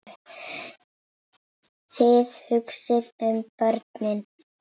Þið hugsið um börnin.